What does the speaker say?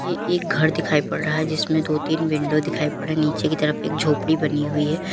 ये एक घर दिखाई पड़ रहा है जिसमें दो तीन विंडो दिखाई पड़ रहे हैं नीचे की तरफ एक झोपड़ी बनी हुई है।